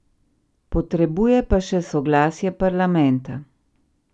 Potrebuje pa še soglasje parlamenta.